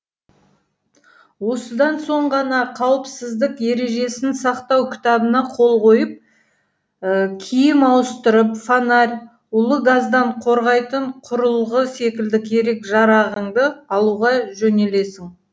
осыдан соң ғана қауіпсіздік ережесін сақтау кітабына қол қойып киім ауыстырып фонарь улы газдан қорғайтын құрылғы секілді керек жарағыңды алуға жөнелесің